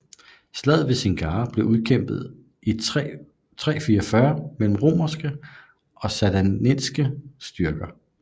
Slaget ved Singara blev udkæmpet i 344 mellem romerske og sassanidiske styrker